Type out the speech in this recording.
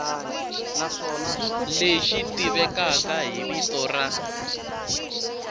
lexi tivekaka hi vito ra